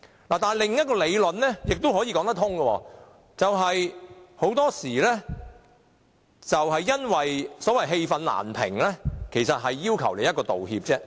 但是，另一個理論也說得通，就是很多時候當事人是因為氣憤難平，其實他只要求一個道歉而已。